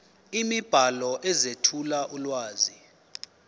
imibhalo ezethula ulwazi